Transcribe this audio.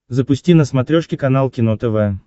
запусти на смотрешке канал кино тв